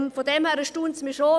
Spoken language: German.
Daher erstaunt es mich schon.